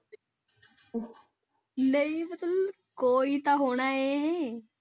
ਨਹੀਂ ਤੇ ਤੂੰ ਕੋਈ ਤਾਂ ਹੋਣਾ ਹੈ।